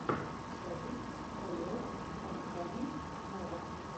запись халех адхами нава